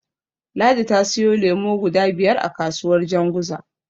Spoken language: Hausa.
Ladi ta siyo lemo guda biyar a kasuwar Janguza.